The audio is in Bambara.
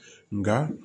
Nka